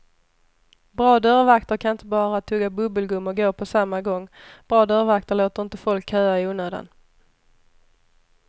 Bra dörrvakter kan inte bara tugga bubbelgum och gå på samma gång, bra dörrvakter låter inte folk köa i onödan.